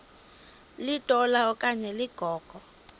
litola okanye ligogo